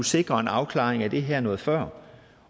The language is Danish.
sikre en afklaring af det her noget før